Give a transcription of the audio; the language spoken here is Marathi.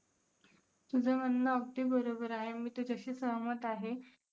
तुझं म्हणणं अगदी बरोबर आहे. मी तुझ्याशी सहमत आहे.